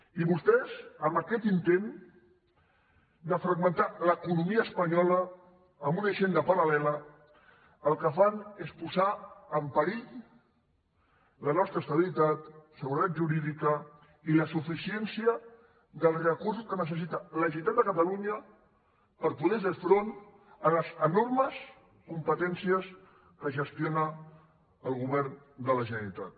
i vostès amb aquest intent de fragmentar l’economia espanyola amb una hisenda paralque fan és posar en perill la nostra estabilitat seguretat jurídica i la suficiència dels recursos que necessita la generalitat de catalunya per poder fer front a les enormes competències que gestiona el govern de la generalitat